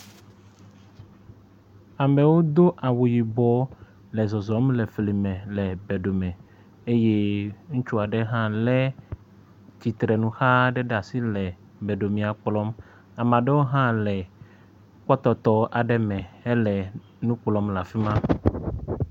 Amewo do awu yibɔ le zɔzɔm le fli me le beɖome eye ŋutsu aɖe hã lé tsitrenuxa aɖe ɖe asi le beɖomea kplɔm, ame aɖewo hã le kpɔtɔtɔ aɖe me hele nu kplɔm le afi ma.